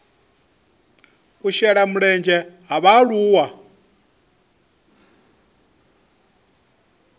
u shela mulenzhe ha vhaaluwa